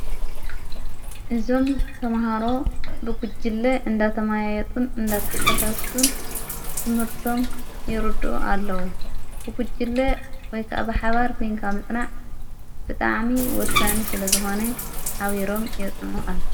እዞም ተምሃሮ ብጉጅለ እንዳተማያየጡን እንዳታሕታታቱን ትምህርቶም ይርድኡ ኣለዉ ብጕጅለ ወይከዓ ብሓባር ኮይንካ ምጽናዕ ብጣዕሚ ወሳኒ ስለ ዝኾነ ሓቢሮም የጽንዑ ኣለው።